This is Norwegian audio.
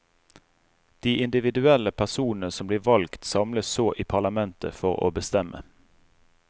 De individuelle personene som blir valgt samles så i parlamentet for å bestemme.